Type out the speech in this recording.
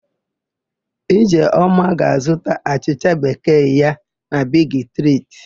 Ijeọma ga-azụta achịcha bekee ya na Bigi Triti.